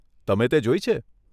તમે તે જોઈ છે?